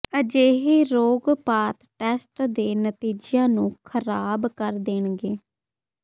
ਅਜਿਹੇ ਰੋਗਪਾਤ ਟੈਸਟ ਦੇ ਨਤੀਜਿਆਂ ਨੂੰ ਖਰਾਬ ਕਰ ਦੇਣਗੇ